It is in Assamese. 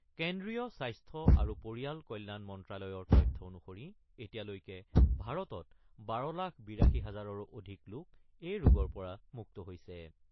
কেন্দ্ৰীয় স্বাস্থ্য আৰু পৰিয়াল কল্যাণ মন্ত্ৰ্যালয়ৰ তথ্য অনুসৰি এতিয়ালৈ ভাৰতত ১২ লাখ ৮২ হাজাৰৰো অধিক লোক এই ৰোগৰ পৰা মুক্ত হৈছে।